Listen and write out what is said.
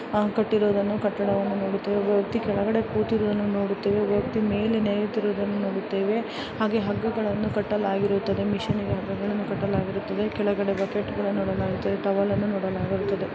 ಆ ಕಟ್ಟಿರುವುದನ್ನು ಕಟ್ಟಡವನ್ನು ನೋಡುತ್ತೇವೆ. ಒಬ್ಬ ವ್ಯಕ್ತಿ ಕೆಳಗಡೆ ಕೂತಿರುವುದನ್ನು ನೋಡುತ್ತೇವೆ. ಒಬ್ಬ ವ್ಯಕ್ತಿ ಮೇಲೆ ನೇಯುತ್ತಿರುವುದನ್ನು ನೋಡುತ್ತೇವೆ ಹಾಗೆ ಹಗ್ಗಗಳನ್ನು ಕಟ್ಟಲಾಗಿರುತ್ತದೆ. ಮಿಷನ ಗೆ ಹಗ್ಗಗಳನ್ನು ಕಟ್ಟಲಾಗಿರುತ್ತದೆ. ಕೆಳಗಡೆ ಬಕೆಟ್ಗಳನ್ನು ಇಡಲಾಗಿದೆ. ಟವಲನ್ನು ನೋಡಲಾಗಿರುತ್ತದೆ.